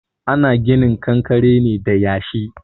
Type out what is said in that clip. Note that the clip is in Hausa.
Ana ginin kankare ne da yashi.